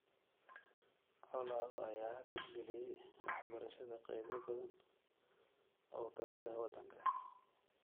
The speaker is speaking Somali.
Colaado ayaa hakad geliyay waxbarashada qeybo badan oo ka mid ah wadanka .